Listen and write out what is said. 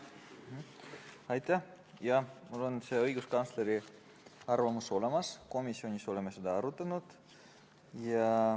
Jah, mul on see õiguskantsleri arvamus olemas, komisjonis me oleme seda arutanud.